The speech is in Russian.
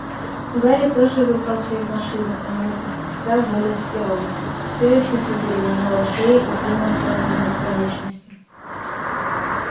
гарри тоже выбрался из машины а минуту спустя вылез и рон всё ещё с одеревенелой шеей и принялся разминать конечности